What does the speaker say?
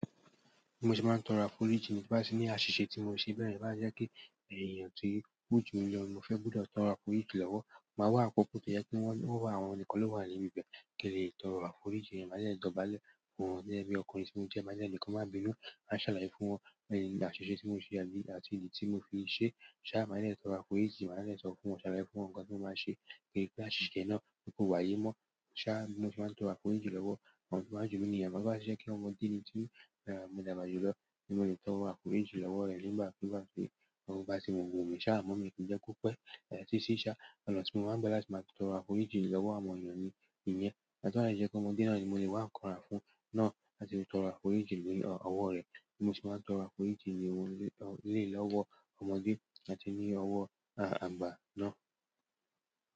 Mo sì máa ń tọrọ àforíjìn nígbà tí ó ní àṣìṣe tí mo ṣe bẹ́yẹ̀n to bá ti jẹ́ pe ẹ̀yàn ti ó jú mi lọ ní mọ́ fẹ́ gbọ́dọ̀ tọrọ àforíjìn lọ́wọ́. Mo máa wá àkókò tó jẹ́ pe wọ́n wá, àwọn nìkan ló wà ní ibi bẹ́ẹ̀ kí n lè tọrọ àforíjìn, máa dẹ́ dọ̀bálẹ̀ fún wọn gẹ́gẹ́ bí ọkùnrin tí mo jẹ́, máa dẹ́ ni kan máa bínú, máa ń ṣàlàyé fún wọn àṣìṣe tí mo ṣe àti ìdí tí mo fi ṣe. Ṣá máa dẹ́ tọrọ àforíjìn, máa dẹ́ sọ fún wọn, ṣàlàyé fún wọn nǹkan tí mo máa ṣe kí àṣìṣe yẹ́n nà pe kó wáyé mọ́. Ṣá bi mo se máa ń tọrọ àforíjìn lọ́wọ́ àwọn tó bá jù mí ní ìyen ámo to bá ti jẹ́ pe ọmọdé ní ti mo dàgbà jù lọ, ni mo lè tọrọ àforíjìn lọ́wọ́ rẹ̀ nígbà kugba tí o bá ti wu mi. Ṣá amọ̀ mí kí jẹ́ kó pẹ́, títí ṣá oná tí mo máa ń gba láti maa tọrọ àforíjìn lọ́wọ́ àwọn ènìyàn ni ìyẹn. Àmo to ba si jẹ́ pe ọmọdé náà ni mo lè wá ń kan ra fún un náà láti fi tọrọ àforíjìn ni ọ̀wọ̀ rẹ̀. Mo sì máa ń tọrọ àforíjìn ni-- lé lòwó ọmọdé àti ní ọ̀wọ́ àgbà náà.